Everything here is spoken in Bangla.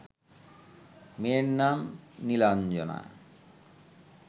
মেয়ের নাম নীলাঞ্জনা